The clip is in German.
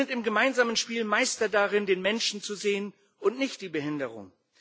Sie sind im gemeinsamen Spiel Meister darin, den Menschen zu sehen und nicht die Behinderung.